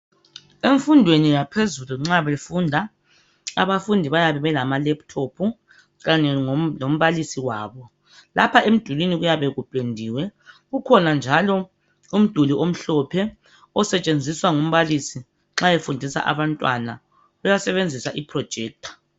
Emfundweni yaphezulu nxa befunda abafundi bayabe belamalaptop kanye lombalisi wabo lapha emdulwini kuyabe kupendiwe. Kukhona njalo umduli omhlophe osetshenziswa ngumbalisi nxa efundisa abantwana uyasebenzisa iprojector.